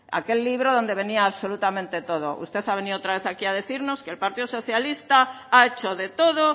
aquel libro donde venía absolutamente todo usted ha venido otra vez aquí a decirnos que el partido socialista ha hecho de todo